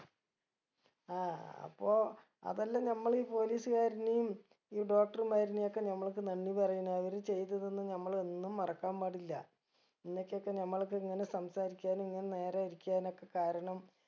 ആ അപ്പൊ അതല്ലം നമ്മള് police കാരനേം ഈ doctor മാരനേം ഒക്കെ നമ്മൾക്ക് നന്ദി പറയണം അവര് ചെയ്ത് തന്ന് നമ്മൾ എന്നും മറക്കാൻ പാടില്ല ഇന്നെക്കൊക്കെ നമ്മൾക്ക് ഇങ്ങനെ സംസാരിക്കാനു ഇങ്ങനെ നേരെ ഇരിക്കനൊക്കെ കാരണം